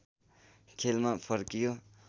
खेलमा फर्कियो